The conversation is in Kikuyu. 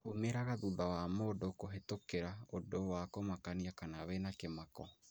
umĩraga thutha wa mũndũ kũhĩtũkĩra ũndũ wa kũmakania kana wĩna kĩmako.